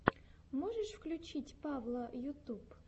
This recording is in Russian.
можешь включить павла ютуб